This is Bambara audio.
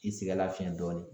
I sɛgɛnlafiɲɛ dɔɔnin.